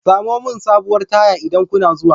Samo min sabuwar taya idan kuna zuwa.